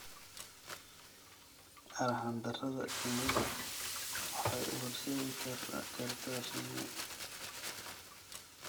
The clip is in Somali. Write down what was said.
Arxan-darrada shinnidu waxay u horseedi kartaa shinni.